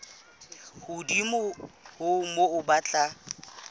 hodimo ho moo ba tla